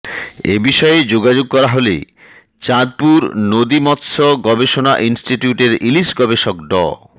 এ বিষয়ে যোগাযোগ করা হলে চাঁদুপর নদী মৎস গবেষণা ইনস্টিটিউটের ইলিশ গবেষক ড